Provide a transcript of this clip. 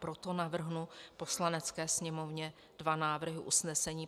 Proto navrhnu Poslanecké sněmovně dva návrhy usnesení.